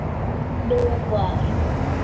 Nú var